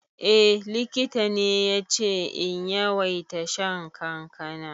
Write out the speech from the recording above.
Eh, likita ne yace in yawaita shan kankana.